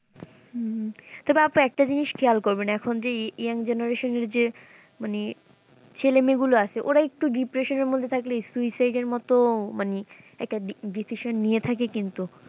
হুম তবে আপু একটা জিনিস খেয়াল করবেন এখন যে young generation এর যে মানে ছেলে মেয়ে গুলো আছে ওরা একটু depression এর মধ্যে থাকলে suicide এর মতো মানে একটা de~decesion নিয়ে থাকে কিন্তু।